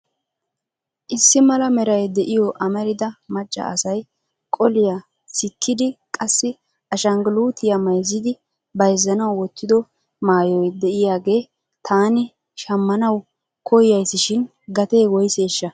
Issi mala meray de'iyo amarida macca asay qolliya sikkidi qassi ashinggulitiya mayizzidi bayzzanaw wottido maayoy de'iyaagee taani shammanaw koyyasishin gatee woyseshsha?